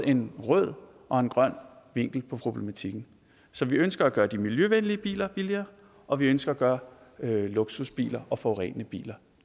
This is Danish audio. en rød og en grøn vinkel på problematikken så vi ønsker at gøre de miljøvenlige biler billigere og vi ønsker at gøre luksusbiler og forurenende biler